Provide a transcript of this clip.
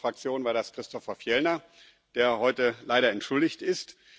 Für unsere Fraktion war das Christofer Fjellner, der heute leider entschuldigt ist.